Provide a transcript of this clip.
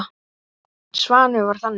Svanur var þannig.